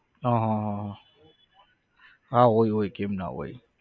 હા હા હા હા હોય હોય કેમ ના હોય.